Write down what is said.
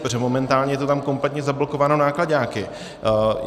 Protože momentálně je to tam kompletně zablokováno náklaďáky.